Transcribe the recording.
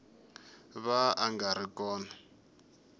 va a nga ri kona